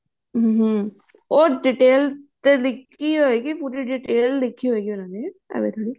ਹਮ ਉਹ detail ਦੇ ਵਿੱਚ ਦਿੱਤੀ ਹੋਇਗੀ ਪੂਰੀ detail ਲਿਖੀ ਹੋਇਗੀ ਉਹਨਾ ਨੇ ਏਵੇਂ ਥੋੜੀ